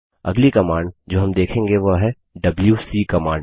अगली कमांड जो हम देखेंगे वह है डबल्यूसी कमांड